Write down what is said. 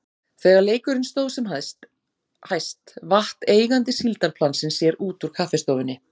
Þegar leikurinn stóð sem hæst vatt eigandi síldarplansins sér út úr kaffistofunni.